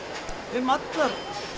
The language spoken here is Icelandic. um allar